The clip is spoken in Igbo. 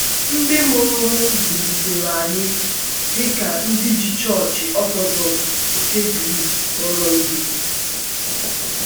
Ndị mụrụ m zụlitere anyị dị ka ndị ji Chọọchị Ọtọdọks nke Gris kpọrọ ihe.